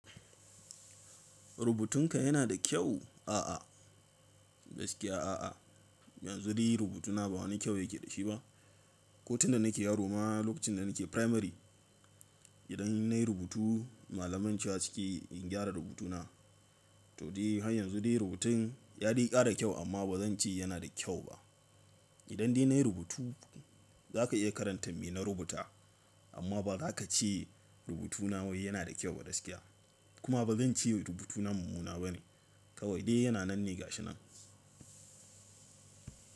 Rubutunka yana da kyau? A'a, gaskiya a'a. Yanzu dai rubutuna ba wani kyau yake da shi ba. Ko tunda nake yaro ma lokacin da nake primary, idan nayi rubutu malaman cewa sukeyi in gyara rubutuna. To dai har yanzu dai rubutun ya dai ƙara kyau amma ba zan ce yana da kyau ba. Idan dai nayi rubutu za ka iya karanta me na rubuta amma ba ra ka ce rubutuna wai yana da kyau ba gaskiya. Kuma ba zan ce rubutuna mumuna bane. Kawai dai yana nan ne ga shi nan.